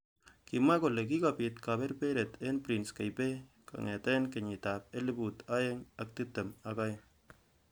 Kimwa kole kikobit kaberberet eng prince Kaybee kongetkei kenyit ab elibu aeng ak tiptem. agenge.